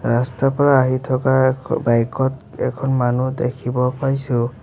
ৰাস্তাৰপৰা আহি থকা অখ বাইক ত এখন মানুহ দেখিব পাইছোঁ।